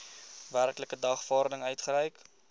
werklike dagvaarding uitgereik